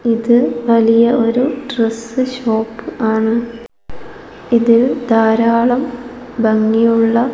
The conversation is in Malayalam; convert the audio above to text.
ഇത് വലിയ ഒരു ഡ്രസ്സ് ഷോപ്പ് ആണ് ഇതിൽ ധാരാളം ഭംഗിയുള്ള--